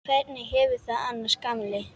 Hvernig hefurðu það annars, gamli?